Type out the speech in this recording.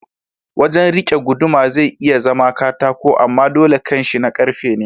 Wajan rike guduma zai iya zama katako amma dole kanshi na karfe ne.